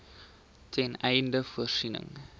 ten einde voorsiening